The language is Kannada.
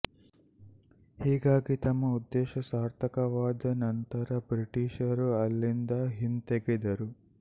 ಹೀಗಾಗಿ ತಮ್ಮ ಉದ್ದೇಶ ಸಾರ್ಥಕವಾದ ಅನಂತರ ಬ್ರಿಟಿಶ್ ರು ಅಲ್ಲಿಂದ ಹಿಂತೆಗೆದರು